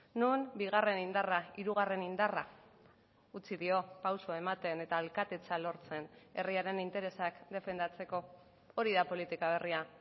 non bigarren indarra hirugarren indarra utzi dio pausua ematen eta alkatetza lortzen herriaren interesak defendatzeko hori da politika berria